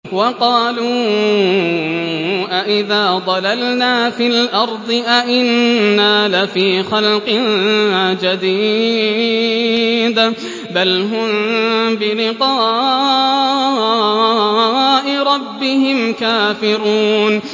وَقَالُوا أَإِذَا ضَلَلْنَا فِي الْأَرْضِ أَإِنَّا لَفِي خَلْقٍ جَدِيدٍ ۚ بَلْ هُم بِلِقَاءِ رَبِّهِمْ كَافِرُونَ